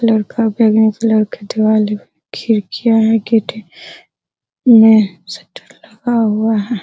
खिड़कियाँ है गेट है लगा हुआ है।